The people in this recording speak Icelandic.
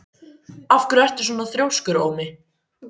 Af hverju ertu svona þrjóskur, Ómi?